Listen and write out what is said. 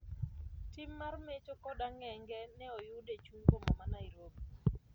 Tim mar mecho kod ang'enge ne oyudi e chuny boma ma Nairobi